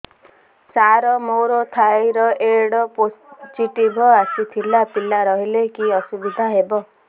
ସାର ମୋର thyroid positive ଆସିଥିଲା ପିଲା ରହିଲେ କି ଅସୁବିଧା ହେବ